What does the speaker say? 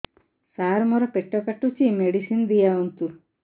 ସାର ମୋର ପେଟ କାଟୁଚି ମେଡିସିନ ଦିଆଉନ୍ତୁ